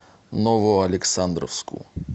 новоалександровску